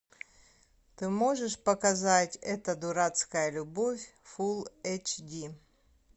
ты можешь показать эта дурацкая любовь фулл эйч ди